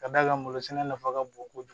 Ka d'a kan malo sɛnɛ nafa ka bon kojugu